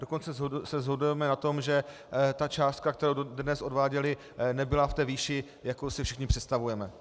Dokonce se shodujeme na tom, že ta částka, kterou dodnes odváděly, nebyla v té výši, jakou si všichni představujeme.